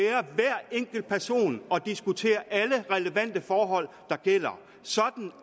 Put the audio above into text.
enkelt person og diskutere alle relevante forhold sådan